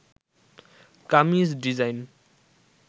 kameez design